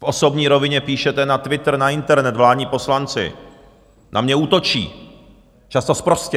V osobní rovině píšete na Twitter, na internet, vládní poslanci na mě útočí, často sprostě.